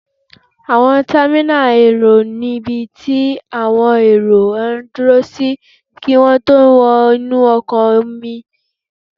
Àwọn támínà èrò ní ibi tí àwọn èrò máa n dúró sí kí wọ́n tó wọ inú ọkọ̀ orí-omi